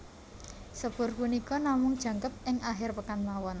Sepur punika namung jangkep ing akhir pekan mawon